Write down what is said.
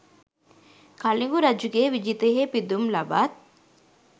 කලිඟු රජුගේ විජිතයෙහි පිදුම් ලබත්